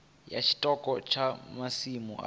ya tshiṱoko tsha masimu avho